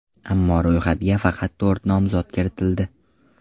Ammo ro‘yxatga faqat to‘rt nomzod kiritildi.